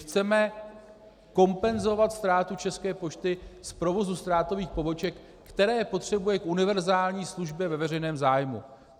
Chceme kompenzovat ztrátu České pošty z provozu ztrátových poboček, které potřebuje k univerzální službě ve veřejném zájmu.